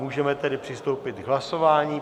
Můžeme tedy přistoupit k hlasování.